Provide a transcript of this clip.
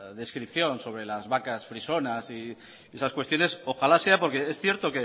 descripción sobre las vacas frisonas y esas cuestiones ojalá sea porque es cierto